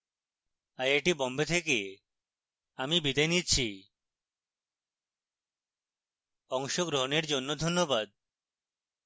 I I T Bombay থেকে আমি বিদায় নিচ্ছি আমাদের সাথে যোগাযোগের জন্য ধন্যবাদ